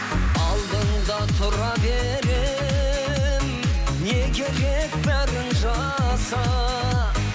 алдыңда тұра беремін не керек бәрін жаса